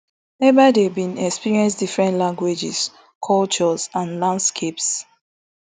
ebaide bin experience different languages cultures and landscapes